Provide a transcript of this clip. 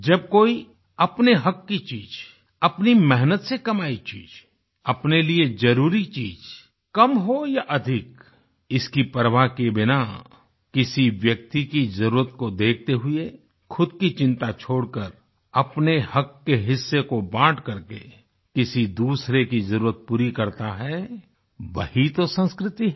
जब कोई अपने हक़ की चीज़ अपनी मेहनत से कमाई चीज़ अपने लिए ज़रूरी चीज़ कम हो या अधिक इसकी परवाह किये बिना किसी व्यक्ति की ज़रूरत को देखते हुए खुद की चिंता छोड़कर अपने हक़ के हिस्से को बाँट करके किसी दूसरे की ज़रुरत पूरी करता है वही तो संस्कृति है